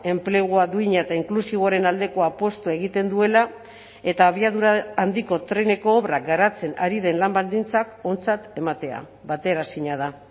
enplegua duina eta inklusiboaren aldeko apustua egiten duela eta abiadura handiko treneko obrak garatzen ari den lan baldintzak ontzat ematea bateraezina da